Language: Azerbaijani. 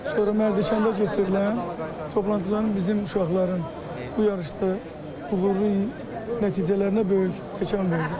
Sonra Mərdəkanda keçirilən toplantıların bizim uşaqların bu yarışda uğurlu nəticələrinə böyük təkan verdi.